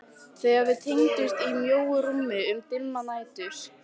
Þegar við tengdumst í mjóu rúmi um dimmar nætur.